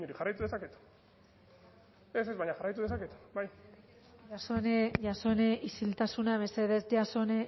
jarraitu dezaket ez ez baina jarraitu dezaket bai jasone jasone isiltasuna mesedez jasone